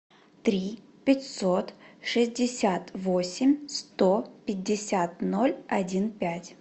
три пятьсот шестьдесят восемь сто пятьдесят ноль один пять